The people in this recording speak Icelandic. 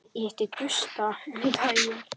Ég hitti Gústa um daginn.